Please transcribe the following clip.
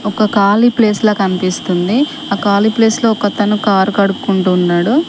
ఒక కాళీ ప్లేస్ లా కనిపిస్తుంది ఆ కాలి ప్లేస్ లో ఒకతను కారు కడుక్కుంటున్నాడు.